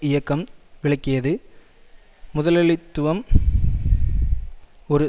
இயக்கம் விளக்கியது முதலளித்துவம் ஒரு